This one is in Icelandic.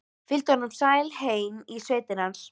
Fylgdi honum sæl heim í sveitina hans.